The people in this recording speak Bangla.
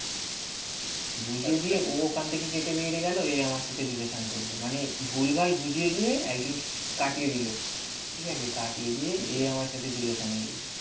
বুঝিয়ে দিয়ে ও ওখান থেকে খেতে বেরিয়ে গেলো. এই আমার সাথে রিলেশন করলো. মানে ভুলভাল বুঝিয়ে দিয়ে একজনকে কাটিয়ে দিল ঠিক আছে কাটিয়ে দিয়ে এ আমার সাথে রিলেশানে এলো.